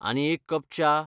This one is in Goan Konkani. आनी एक कप च्या?